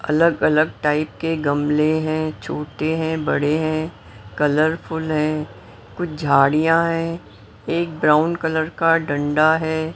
अलग अलग टाइप के गमले हैं छोटे हैं बड़े हैं कलरफुल हैं कुछ झाड़ियां हैं एक ब्राउन कलर का डंडा है।